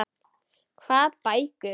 Hvað bækur?